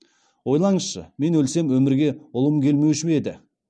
ойлаңызшы мен өлсем өмірге ұлым келмеуші ме еді